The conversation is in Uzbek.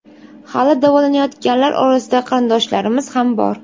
Hali davolanayotganlar orasida qarindoshlarimiz ham bor.